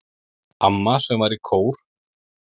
Amma sem var í kór.